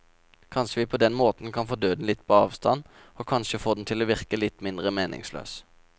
Kanskje kan vi på den måten få døden litt på avstand, og kanskje få den til å virke litt mindre meningsløs.